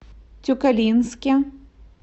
тюкалинске